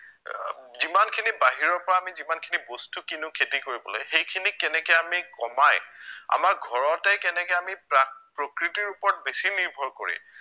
আহ যিমানখিনি বাহিৰৰ পৰা আমি যিমানখিনি বস্তু কিনো খেতি কৰিবলৈ সেইখিনি কেনেকে আমি কমাই আমাৰ ঘৰতেই কেনেকে আমি প্ৰায় প্ৰকৃতিৰ ওপৰত বেছি নিৰ্ভৰ কৰি